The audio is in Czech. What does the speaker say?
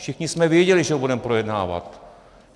Všichni jsme věděli, že ho budeme projednávat.